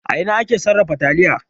A ina ake sarrafa taliya?